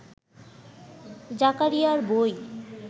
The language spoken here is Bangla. জাকারিয়ার বই